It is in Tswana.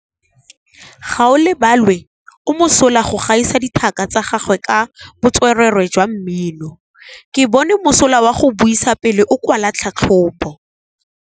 Gaolebalwe o mosola go gaisa dithaka tsa gagwe ka botswerere jwa mmino. Ke bone mosola wa go buisa pele o kwala tlhatlhobô.